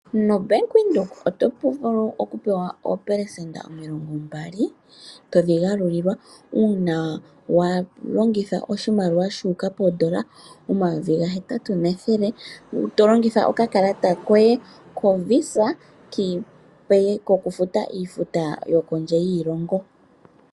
NoBank Windhoek otovulu okupewa oopelesenda omilongombali todhigalulilwa uuna walongitha oshimaliwa shuuka poondola omayovi gahetatu nethele tolongitha okakalata koye koVisa kokufuta iifuta yokondje yiilongo.